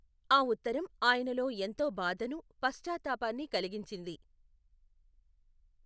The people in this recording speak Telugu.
ఆ ఉత్తరం ఆయనలో ఎంతో బాధను, పశ్చాత్తాపాన్ని కలిగించింది.